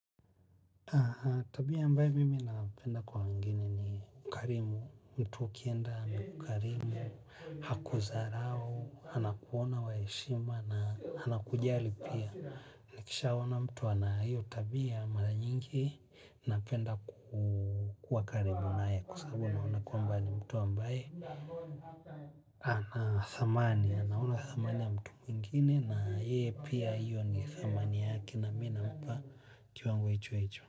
Tabia mbae mimi napenda kwa wengine ni mkarimu, mtu ukienda mkarimu, hakuzarau, anakuona waeshima na anakujali pia. Nikisha ona mtu anayo tabia mara nyingi napenda kukua karibu nae kusabu naona kwamba mtu ambaye. Ana thamani, anaona thamani ya mtu mwingini na yeye pia hiyo ni thamani yaki na mina mba kiwango hicho hicho.